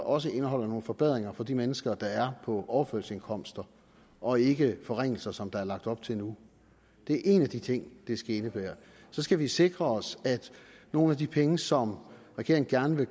også indeholder nogle forbedringer for de mennesker der er på overførselsindkomster og ikke forringelser som der er lagt op til nu det er en af de ting det skal indebære så skal vi sikre os at nogle af de penge som regeringen gerne